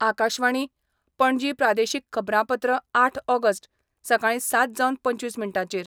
आकाशवाणी, पणजी प्रादेशीक खबरांपत्र आठ ऑगस्ट, सकाळी सात जावन पंचवीस मिनटांचेर